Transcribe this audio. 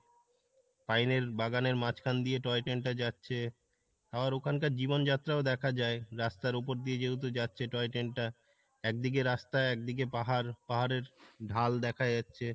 পাইনের বাগানের মাঝখান দিয়ে toy train টা যাচ্ছে, আবার ওখান কার জীবন যাত্রাও দেখা যাই রাস্তার উপর দিয়ে যেহেতু যাচ্ছে toy train টা একদিকে রাস্তা একদিকে পাহাড়, পাহাড়ের ঢাল দেখা যাচ্ছে